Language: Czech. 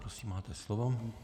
Prosím, máte slovo.